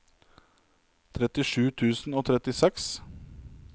trettisju tusen og trettiseks